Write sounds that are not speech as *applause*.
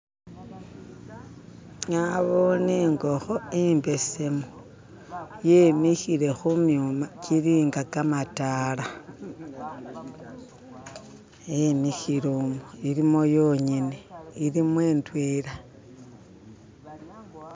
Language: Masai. "*skip*" nabone ingokho imbesemu yemikhile khumyuma kilinga kamatala yemikhile omwo ilimu yong'ene ilimo indwela.